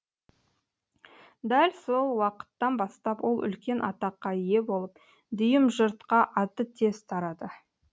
дәл сол уақыттан бастап ол үлкен атаққа ие болып дүйім жұртқа аты тез тарады